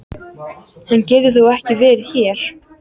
Hann getur þó ekki verið hér!